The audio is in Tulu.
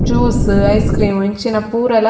ಜ್ಯೂಸ್ ಐಸ್ ಕ್ರೀಮ್ ಇಂಚಿನ ಪೂರಲ--